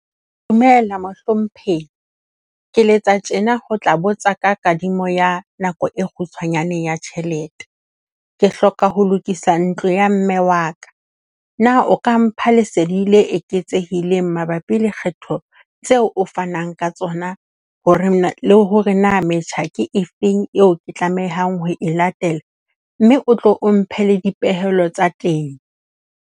Dumela mohlomphehi. Ke letsa tjena ho tla botsa ka kadimo ya nako e kgutshwanyane ya tjhelete. Ke hloka ho lokisa ntlo ya mme wa ka. Na o ka mpha lesedi le eketsehileng mabapi le kgetho tseo o fanang ka tsona hore na le hore na metjha ke efeng eo ke tlamehang ho e latela, mme o tlo o mphe le dipehelo tsa teng.